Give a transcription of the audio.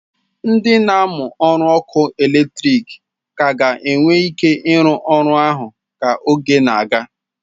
Ndị na-amụ ọrụ ọkụ eletrik ka ga-enwe ike ịrụ ọrụ ahụ ka oge na-aga